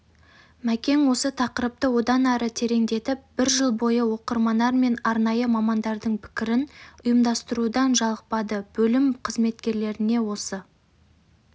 мәкең осы тақырыпты одан ары тереңдетіп бір жыл бойы оқырманар мен арнайы мамандардың пікірін ұйымдастырудан жалықпадыбөлім қызметкерлеріне осы